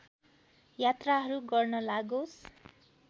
यात्राहरू गर्न लागोस्